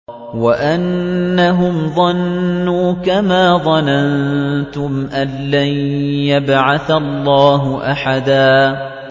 وَأَنَّهُمْ ظَنُّوا كَمَا ظَنَنتُمْ أَن لَّن يَبْعَثَ اللَّهُ أَحَدًا